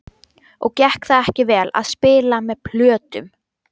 Og gekk það ekki vel. að spila með plötum?